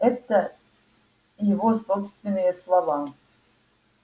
это его собственные слова